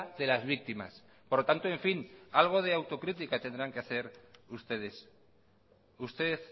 de las víctimas por lo tanto en fin algo de autocrítica tendrán que hacer ustedes usted